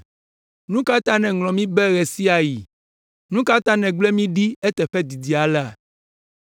Nu ka ta nèŋlɔa mí be ɣe sia ɣi? Nu ka ta nègblẽ mi ɖi eteƒe didi alea?